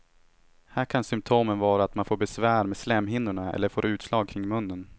Här kan symptomen vara att man får besvär med slemhinnorna eller får utslag kring munnen.